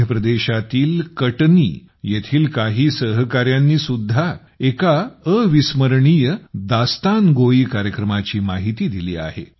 मध्य प्रदेशातील कटनी येथील काही सहकाऱ्यांनीसुद्धा एका अविस्मरणीय दास्तानगोई कार्यक्रमाची माहिती दिली आहे